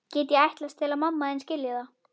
Get ég ætlast til að mamma þín skilji það?